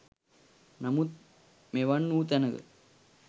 නමුත් මෙවන් වූ තැනක